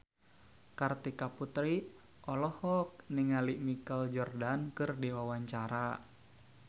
Kartika Putri olohok ningali Michael Jordan keur diwawancara